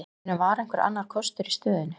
Ég meina, var einhver annar kostur í stöðunni?